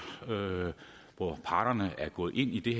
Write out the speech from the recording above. hvor parterne er gået ind i det